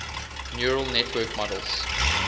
neural network models